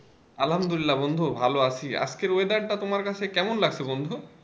আলহামদুলিল্লাহ বন্ধু ভালো আছি আজকের weather টা তোমার কাছে কেমন লাগছে বন্ধু?